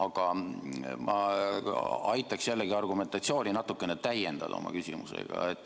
Aga ma aitaks täna oma küsimusega argumentatsiooni natukene täiendada.